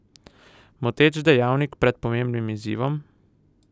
Moteč dejavnik pred pomembnim izzivom?